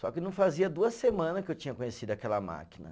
Só que não fazia duas semana que eu tinha conhecido aquela máquina.